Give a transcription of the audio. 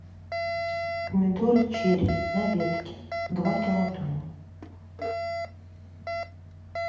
помидоры черри на ветке два килограмма